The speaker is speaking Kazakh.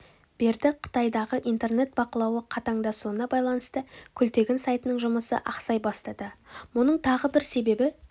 берді қытайдағы интернет бақылауы қатаңдасуына байланысты күлтегін сайтының жұмысы ақсай бастады мұның тағы бір себебі